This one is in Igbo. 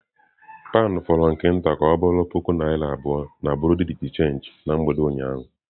Pound fọrọ nke nta ka ọ bụrụ puku naira abụọ na bureau de change na mgbede ụnyaahụ.